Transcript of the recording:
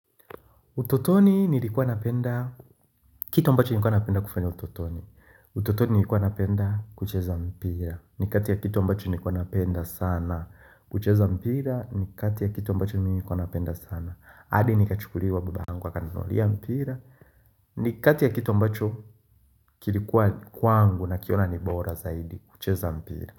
Utotoni nilikuwa napenda, kitu ambacho nilikuwa napenda kufanya utotoni. Utotoni nilikuwa napenda kucheza mpira. Ni kati ya kitu ambacho nilikuwa napenda sana kucheza mpira. Ni kati ya kitu ambacho mimi nilikuwa napenda sana. Adi nikachukuliwa babaangu akaninunulia mpira. Ni kati ya kitu ambacho kilikuwa kwangu nakiona ni bora zaidi kucheza mpira.